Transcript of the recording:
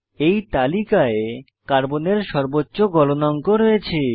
এই তালিকায় কার্বনের সর্বোচ্চ গলনাঙ্ক রয়েছে